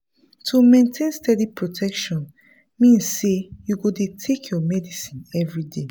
to maintain steady protection mean say you go dey take your medicine everyday